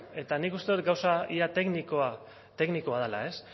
eta nik uste gauza ia teknikoa dela